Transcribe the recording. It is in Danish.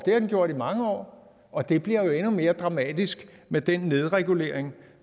har den gjort i mange år og det bliver endnu mere dramatisk med den nedregulering